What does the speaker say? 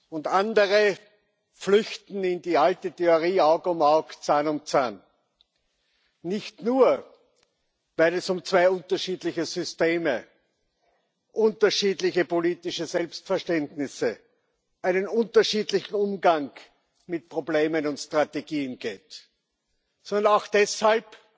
Und andere flüchten in die alte Theorie Auge um Auge, Zahn um Zahn nicht nur, weil es um zwei unterschiedliche Systeme, unterschiedliche politische Selbstverständnisse, einen unterschiedlichen Umgang mit Problemen und Strategien geht, sondern auch deshalb,